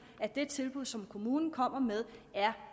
at det tilbud som kommunen kommer med er